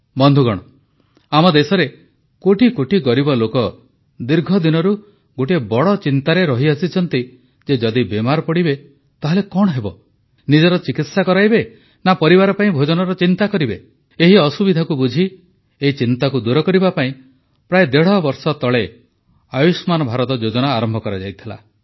ବନ୍ଧୁଗଣ ଆମ ଦେଶରେ କୋଟିକୋଟି ଗରିବ ଲୋକ ଦୀର୍ଘଦିନରୁ ଗୋଟିଏ ବଡ଼ ଚିନ୍ତାରେ ରହିଆସିଛନ୍ତି ଯେ ଯଦି ବେମାର ପଡ଼ିବେ ତାହେଲେ କଣ ହେବ ନିଜର ଚିକିତ୍ସା କରାଇବେ ନା ପରିବାର ପାଇଁ ଭୋଜନର ଚିନ୍ତା କରିବେ ଏହି ଅସୁବିଧାକୁ ବୁଝି ଏହି ଚିନ୍ତାକୁ ଦୂର କରିବା ପାଇଁ ପ୍ରାୟ ଦେଢ଼ବର୍ଷ ତଳେ ଆୟୁଷ୍ମାନ୍ ଭାରତ ଯୋଜନା ଆରମ୍ଭ କରାଯାଇଥିଲା